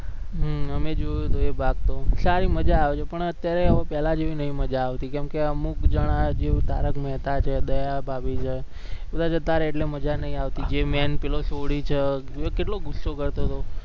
હમ અમે જોયું તું એ ભાગ તો સારું મજા આવે છે પણ અત્યારે હવે પેલા જેવી નઈ મજા આવતી, કેમકે અમુક જણા જેમકે તારક મહેતા છે, દયા ભાભી છે એ બધા જતા રયા એટલે મજા નઈ આવતી જે main પેલો સોઢી છે એ કેટલો ગુસ્સો કરતો તો